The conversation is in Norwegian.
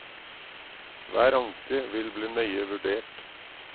Hver anke vil bli nøye vurdert.